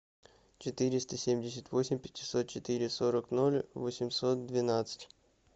четыреста семьдесят восемь пятьсот четыре сорок ноль восемьсот двенадцать